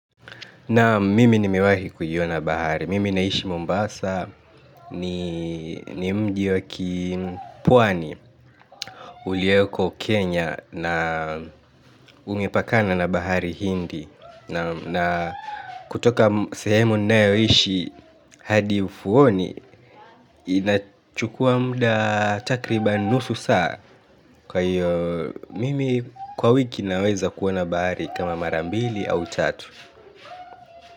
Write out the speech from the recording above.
Nam mimi nimewahi kuiona bahari, mimi naishi Mombasa ni mji wa kipwani ulioko Kenya na umepakana na bahari hindi na kutoka sehemu ninayoishi hadi ufuoni inachukua muda takriban nusu saa kwa hiyo mimi kwa wiki naweza kuona bahari kama mara mbili au tatu.